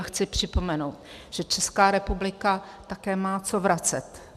A chci připomenout, že Česká republika také má co vracet.